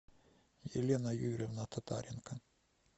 елена юрьевна татаренко